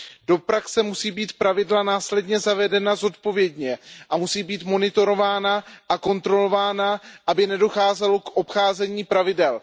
Do praxe musí být pravidla následně zavedena zodpovědně a musí být monitorována a kontrolována, aby nedocházelo k obcházení pravidel.